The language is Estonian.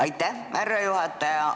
Aitäh, härra juhataja!